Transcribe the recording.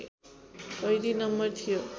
कैदी नम्बर थियो